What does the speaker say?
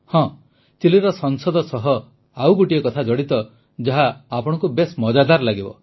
ହଁ ଚିଲିର ସଂସଦ ସହ ଜଡ଼ିତ ଆଉ ଗୋଟିଏ କଥା ଆପଣଙ୍କୁ ବେଶ୍ ମଜାଦାର ଲାଗିବ